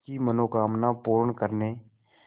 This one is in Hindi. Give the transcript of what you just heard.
की मनोकामना पूर्ण करने